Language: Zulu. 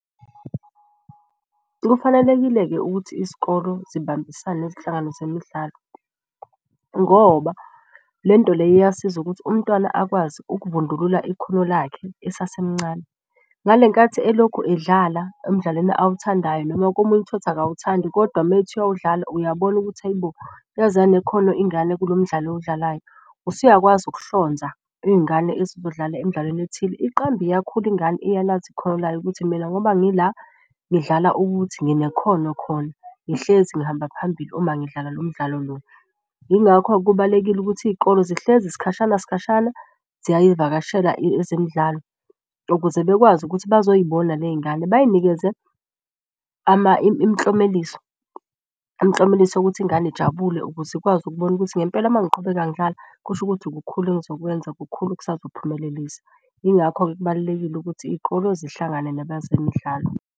Kufanelekile-ke ukuthi isikolo zibambisane nezinhlangano zemidlalo ngoba lento leyo iyasiza ukuthi umntwana akwazi ukuvundulula ikhono lakhe esasemncane. Ngale nkathi elokhu edlala emdlalweni awuthandayo noma komunye uthole ukuthi akawuthandi kodwa methi uwudlala uyabona ukuthi ayi bo yaze yanekhono ingane kulo mdlalo ewudlalayo. Usuyakwazi ukuhlonza iy'ngane ezizodlala emdlalweni ethile. Iqambe iyakhula ingane iyalazi ikhono layo ukuthi mina ngoba ngila ngidlala ukuthi. Ngine khono khona ngihlezi ngihamba phambili uma ngidlala lo mdlalo lo. Yingakho-ke kubalulekile ukuthi iy'kole zihlezi sikhashana sikhashana ziyayivakashela ezemidlalo ukuze bekwazi ukuthi bazoy'bona ley'ngane bay'nikeze imklomeliso. Imklomeliso yokuthi ingane ijabule ukuze ikwazi ukubona ukuthi ngempela mangiqhubeka ngidlala kusho ukuthi kukhulu engizokwenza kukhulu okusazophumelelisa. Yingakho-ke kubalulekile ukuthi iy'kolo zihlangane nabezemidlalo.